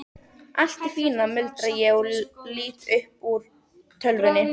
Allt í fína, muldra ég og lít upp úr tölvunni.